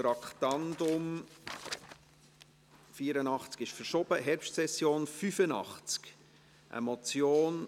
Das Traktandum 84 wurde in die Herbstsession verschoben.